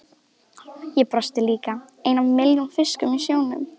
Ég brosti líka, einn af milljón fiskum í sjónum.